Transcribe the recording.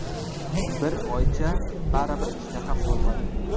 Bir oycha baribir ishtaham bo‘lmadi.